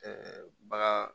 bagan